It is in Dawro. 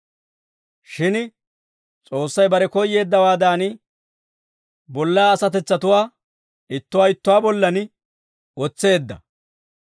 Shin S'oossay bare koyyeeddawaadan, bollaa asatetsatuwaa ittuwaa ittuwaa bollan wotseedda.